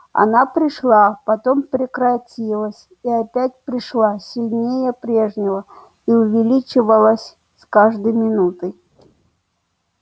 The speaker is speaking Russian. она пришла потом прекратилась и опять пришла сильнее прежнего и увеличивалась с каждой минутой